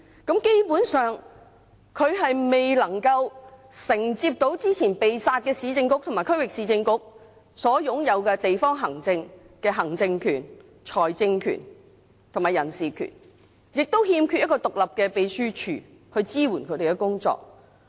基本上，它未能夠承接到之前"被殺"的市政局和區域市政局所擁有的地方行政權、財政權和人事權，亦欠缺一個獨立的秘書處去支援它們的工作。